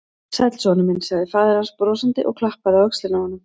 Sæll, sonur minn sagði faðir hans brosandi og klappaði á öxlina á honum.